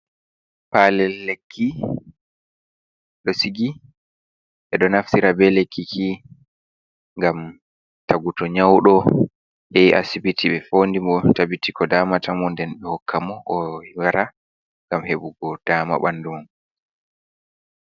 Palel lekki ɗosigi, ɓeɗo naftira be lekkiki ngam taguto nyauɗo yahi acibiti be fondi mo tabiti ko damata mu nden ɓe hokka mo owara ngam heɓugo dama bandumum.